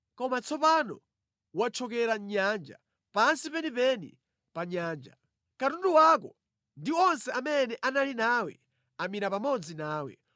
Koma tsopano wathyokera mʼnyanja, pansi penipeni pa nyanja. Katundu wako ndi onse amene anali nawe amira pamodzi nawe.